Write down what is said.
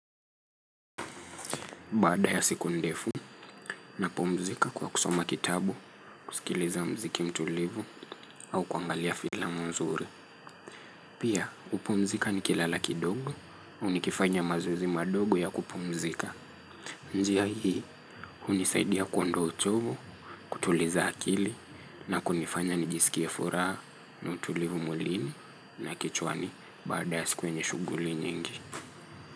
Baada ya siku ndefu napumzika kwa kusoma kitabu, kusikiliza muziki mtulivu au kuangalia filamu nzuri. Pia, hupumzika nikilala kidogo au nikifanya mazoezi madogo ya kupumzika. Njia hii, hunisaidia kuondoa uchovu, kutuliza akili na kunifanya nijisikie furaha na utulivu mwilini na kichwani baada ya siku yenye shughuli nyingi.